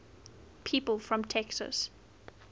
people from texas